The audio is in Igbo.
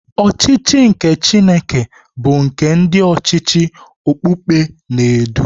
Ọchịchị nke Chineke bu nke ndị ọchịchị okpukpe na-edu.